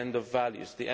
the end of values